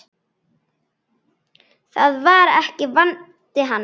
Það var ekki vandi hans.